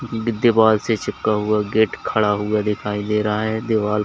दी दीवाल से चिपका हुआ गेट खड़ा हुआ दिखाई दे रहा है दीवाल--